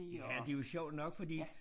Ja det jo sjovt nok fordi